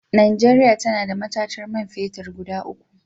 Najeriya tana da matatar man fetir guda uku.